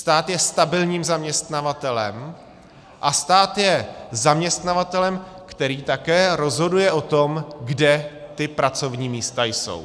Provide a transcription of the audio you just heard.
Stát je stabilním zaměstnavatelem a stát je zaměstnavatelem, který také rozhoduje o tom, kde ta pracovní místa jsou.